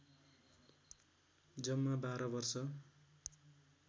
जम्मा १२ वर्ष